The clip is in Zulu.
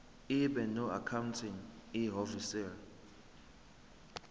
ibe noaccounting ihhovisir